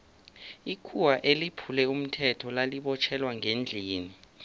ikhuwa eliphule umthetho lali botjhelwa ngendlini